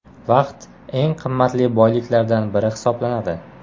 Vaqt eng qimmatli boyliklardan biri hisoblanadi.